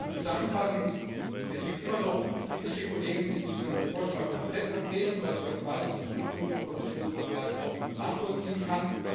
Zusammenfassend Es gibt immer noch etliche Kollegen, die diesen Vorschlag komplett ablehnen, was ich auf Basis des ursprünglichen Kommissionsvorschlags auch nachvollziehen kann.